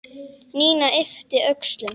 Nína yppti öxlum.